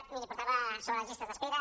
jo miri portava sobre les llistes d’espera